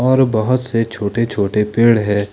और बहोत से छोटे छोटे पेड़ है।